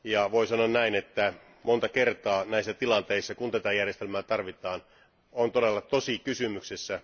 Voi sanoa näin, että monta kertaa näissä tilanteissa, kun tätä järjestelmää tarvitaan, on todella tosi kysymyksessä.